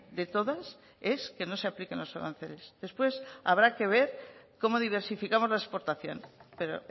de todas es que no se apliquen los aranceles después habrá que ver cómo diversificamos la exportación pero